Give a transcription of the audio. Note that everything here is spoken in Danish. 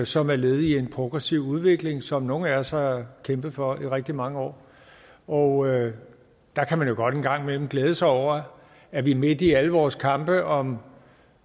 som er led i en progressiv udvikling som nogle af os har kæmpet for i rigtig mange år og der kan man jo godt en gang imellem glæde sig over at det midt i alle vores kampe om om